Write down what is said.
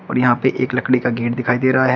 यहां पे एक लकड़ी का गेट दिखाई दे रहा है।